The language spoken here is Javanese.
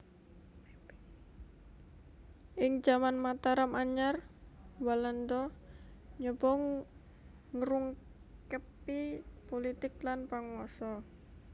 Ing jaman Mataram Anyar Walanda nyoba ngrungkebi pulitik lan panguwasa